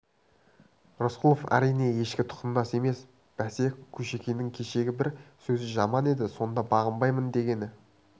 рысқұлов әрине ешкі тұқымдас емес бәсе кушекиннің кешегі бір сөзі жаман еді сонда бағынбаймын дегені